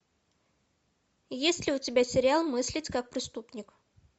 есть ли у тебя сериал мыслить как преступник